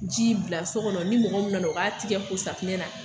Ji bila so kɔnɔ ni mɔgɔ min nana o b'a tɛgɛ ko safunɛ na